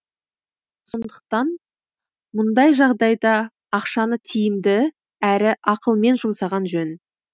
сондықтан мұндай жағдайда ақшаны тиімді әрі ақылен жұмсаған жөн